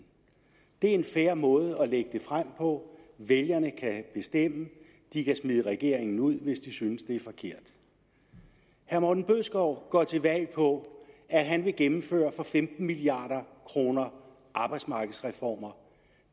det er en fair måde at lægge det frem på vælgerne kan bestemme de kan smide regeringen ud hvis de synes at det er forkert herre morten bødskov går til valg på at han vil gennemføre for femten milliard kroner arbejdsmarkedsreformer